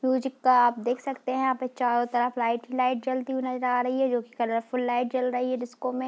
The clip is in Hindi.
चिपका आप देख सकते है यहां पे चारो तरफ लाइट ही लाइट जलती हुई नजर आ रहीं है। जो की कलरफूल लाइट जल रही है डिस्को में |